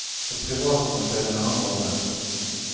Det private må spille en annen rolle.